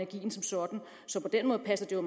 nu